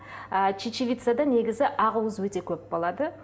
ы чечевицада негізі ақ уыз өте көп болады